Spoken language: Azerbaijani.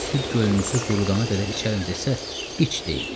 Süd gölünüzü qurudana qədər içərəm desə, iç deyin.